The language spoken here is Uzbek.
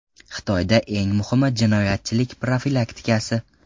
Xitoyda eng muhimi jinoyatchilik profilaktikasi.